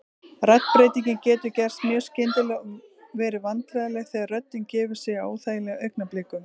Raddbreytingin getur gerst mjög skyndilega og verið vandræðaleg þegar röddin gefur sig á óþægilegum augnablikum.